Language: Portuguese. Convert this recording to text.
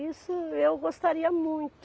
Isso eu gostaria muito.